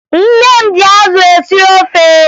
Nne m ji azụ esi ofe